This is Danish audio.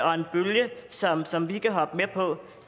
og en bølge som som vi kan hoppe med på